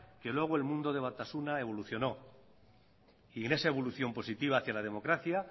que luego el mundo de batasuna evolucionó y en esa evolución positiva hacía la democracia